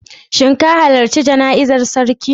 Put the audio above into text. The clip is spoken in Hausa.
Shin ka halarci jana'izar sarki?